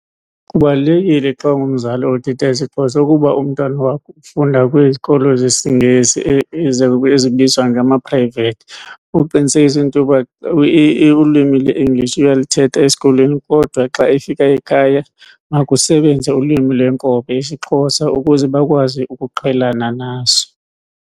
Kubalulekile xa ungumzali othetha isiXhosa ukuba umntwana wakho ufunda kwizikolo zesiNgesi ezibizwa ngama-private. Uqinisekise into yoba ulwimi le-English uyalithetha esikolweni kodwa xa efika ekhaya makusebenze ulwimi lwenkobe, isiXhosa, ukuze bakwazi ukuqhelana naso.